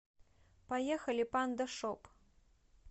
поехали панда шоп